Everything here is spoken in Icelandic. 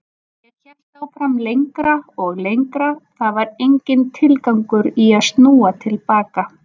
Ég hélt áfram lengra og lengra, það var enginn tilgangur í að snúa til baka.